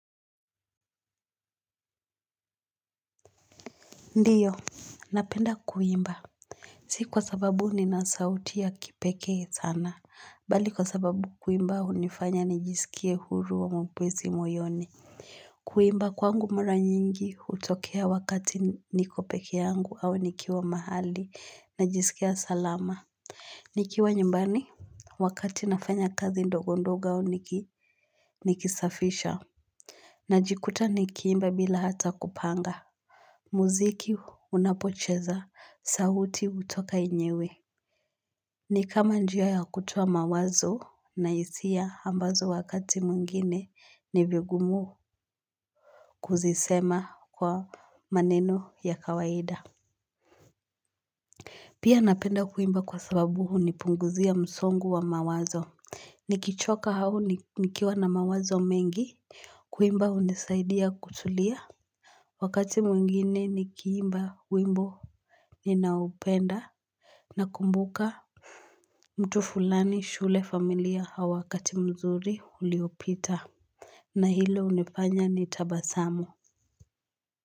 Ndio, napenda kuimba si kwa sababu nina sauti ya kipekee sana bali kwa sababu kuimba hunifanya nijisikie huru wa mwepesi moyoni kuimba kwangu mara nyingi hutokea wakati niko pekee yangu au nikiwa mahali najisikia salama nikiwa nyumbani wakati nafanya kazi ndogo ndogo au nikisafisha najikuta nikiimba bila hata kupanga. Muziki unapocheza sauti hutoka yenyewe. Ni kama njia ya kutoa mawazo na hisia ambazo wakati mwingine ni vigumu kuzisema kwa maneno ya kawaida. Pia napenda kuimba kwa sababu hunipunguzia msongo wa mawazo. Nikichoka au nikiwa na mawazo mengi kuimba hunisaidia kutulia. Wakati mwingine nikiimba wimbo ninaopenda. Nakumbuka mtu fulani, shule, familia au wakati mzuri uliopita. Na hilo hunifanya nitabasamu.